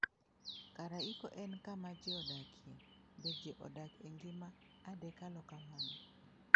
Karaikoo en kama ji odakie, be ji odak e ngima adekalo kamano?